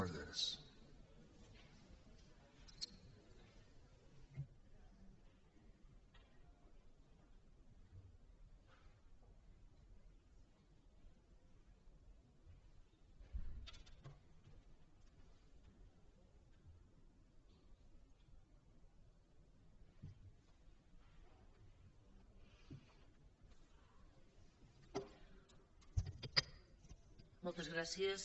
moltes gràcies